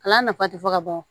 Kalan nafa tɛ fɔ ka ban